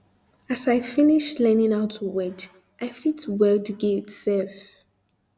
as i finish learning how to weld i fit um weld gate sef